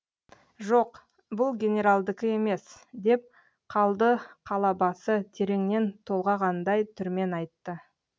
жоқ бұл генералдікі емес деп қалды қалабасы тереңнен толғағандай түрмен айтты